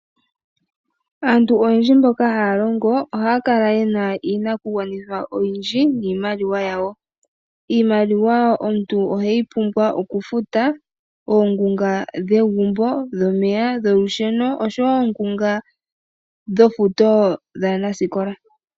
Aantu ayendji mboka haalongo, oha ya kala yena iinakugwanithwa oyindji niimaliwa yawo. Iimaliwa omuntu ohe yi pumbwa oku futa oongunga dhegumbo, dhomeya ,dholusheno oshowo oongunga dhofuto dhaanasikola.